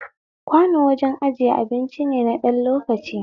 Kwano wajen ijiyan abinci ne na ɗan lokaci